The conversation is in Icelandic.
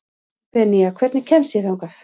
Benía, hvernig kemst ég þangað?